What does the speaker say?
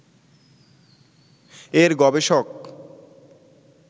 এর গবেষক